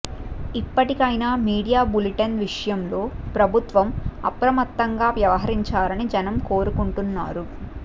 ఇప్పటికైనా media bulletin విషయంలో ప్రభుత్వం అప్రమత్తంగా వ్యవహరించాలని జనం కోరుకుంటున్నారు